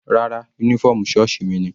Rárá, uniform sọ́ọ̀sì mi ni.